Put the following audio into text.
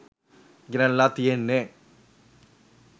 ගෙනල්ලා තියෙන්නේ